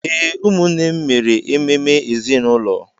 Ee, ụmụnne m mere ememe ezinụlọ.